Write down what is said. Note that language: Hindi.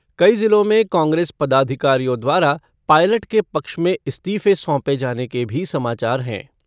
कई जिलों में कांग्रेस पदाधिकारियों द्वारा पायलट के पक्ष में इस्तीफ़े सौंपे जाने के भी समाचार हैं।